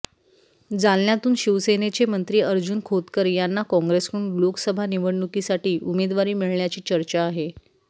जालन्यातून शिवसेनेचे मंत्री अर्जुन खोतकर यांना कॉंग्रेसकडून लोकसभा निवडणुकीसाठी उमेदवारी मिळण्याची चर्चा आहे